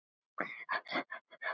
Síðasta ár var mjög lélegt.